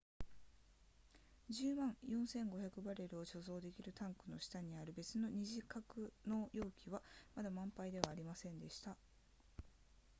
10万4500バレルを貯蔵できるタンクの下にある別の二次格納容器はまだ満杯ではありませんでした